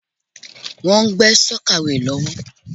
Wọ́n ń gbé sọ́kàweè lọ́wọ́.